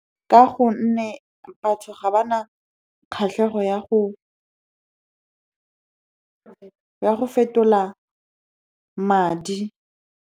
Ka gonne batho ga ba na kgatlhego ya go fetola madi.